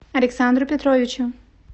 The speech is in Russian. александру петровичу